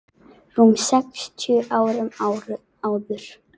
rúmum sextíu árum áður.